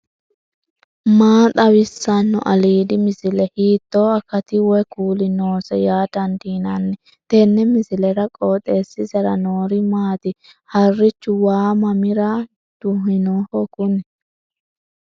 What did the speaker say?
maa xawissanno aliidi misile ? hiitto akati woy kuuli noose yaa dandiinanni tenne misilera? qooxeessisera noori maati ? harrichu waa mamira duhinoho kuni